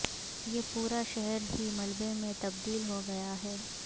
یہ پورا شہر ہی ملبے میں تبدیل ہوگیا ہے